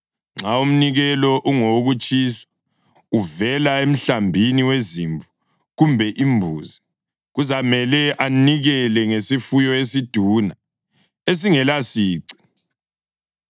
Nxa umnikelo ungowokutshiswa, uvela emhlambini wezimvu kumbe imbuzi, kuzamele anikele ngesifuyo esiduna esingelasici.